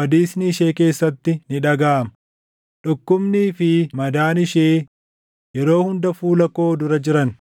badiisni ishee keessatti ni dhagaʼama. Dhukkubnii fi madaan ishee yeroo hunda fuula koo dura jiran.